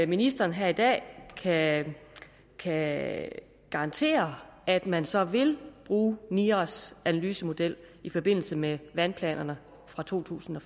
ministeren her i dag kan kan garantere at man så vil bruge niras analysemodel i forbindelse med vandplanerne fra totusinde